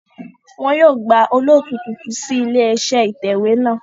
Wọn yóò gba olóòtú tuntun sí ilé iṣẹ́ ìtẹ̀wé náà